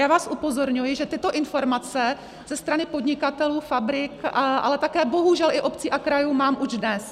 Já vás upozorňuji, že tyto informace ze strany podnikatelů, fabrik, ale také bohužel i obcí a krajů mám už dnes.